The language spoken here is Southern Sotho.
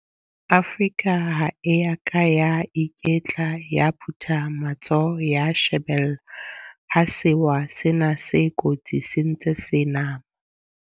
Afrika ha e ya ka ya iketla ya phutha matsoho ya shebella ha sewa sena se kotsi se ntse se nama.